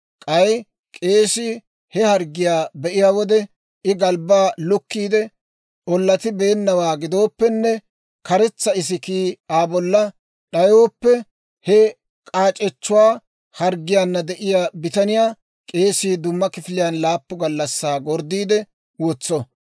K'ay k'eesii he harggiyaa be'iyaa wode, I galbbaa lukkiide ollatibeennawaa gidooppenne karetsa isikiikka Aa bolla d'ayooppe, he k'aac'echchuwaa harggiyaana de'iyaa bitaniyaa k'eesii dumma kifiliyaan laappun gallassaa gorddiide wotso.